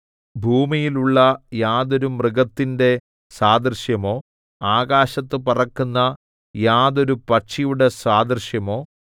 ഭൂമിയിലുള്ള യാതൊരു മൃഗത്തിന്റെ സാദൃശ്യമോ ആകാശത്ത് പറക്കുന്ന യാതൊരു പക്ഷിയുടെ സാദൃശ്യമോ